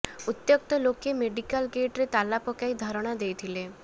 ଉତ୍ତ୍ୟକ୍ତ ଲୋକେ ମେଡିକାଲ୍ ଗେଟ୍ରେ ତାଲା ପକାଇ ଧାରଣା ଦେଇଥିଲେ